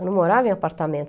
Eu não morava em apartamento.